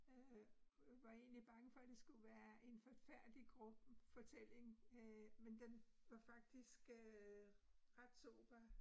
Øh var egentlig bange for det skulle være en forfærdelig grum fortælling øh, men den var faktisk øh ret sober